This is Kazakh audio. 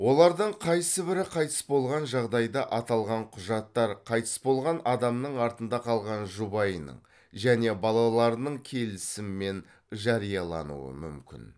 олардын қайсыбірі қайтыс болған жағдайда аталған құжаттар қайтыс болған адамнын артында қалған жұбайының және балаларының келісімімен жариялануы мүмкін